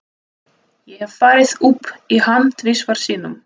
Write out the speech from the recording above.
Ég hef farið upp í hann tvisvar sinnum.